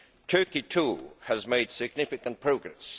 Turkey, too, has made significant progress.